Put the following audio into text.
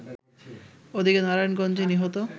ওদিকে নারায়ণগঞ্জে নিহত